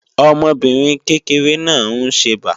Ọmọbìnrin kékeré náà ń ṣẹbà